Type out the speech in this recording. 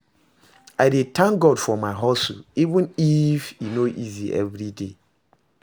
I dey tank God for my hustle, even if e no easy evriday.